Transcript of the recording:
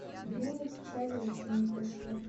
время печали еще не пришло